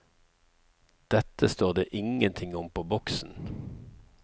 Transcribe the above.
Dette står det ingenting om på boksen.